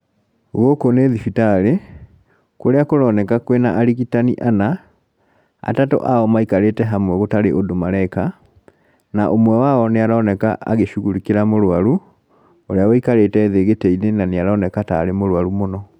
Gũkũ nĩ thibitarĩ, kũria kũroneka kwĩna arigitani ana, atatũ ao maikarĩte hamwe gũtarĩ ũndũ mareka, na ũmwe wao nĩ aroneka agĩshugurĩkĩra mũrũaru, ũrĩa wũikarĩte thĩ gĩtĩ-inĩ na nĩaroneka tarĩ mũrũaru mũno.